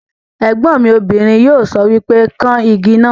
Ègbọ́n mi obìnrin yóò sọ wípé 'kan Igi náà '